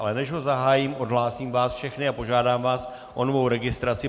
Ale než ho zahájím, odhlásím vás všechny a požádám vás o novou registraci.